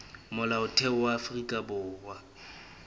molaotheo wa afrika borwa o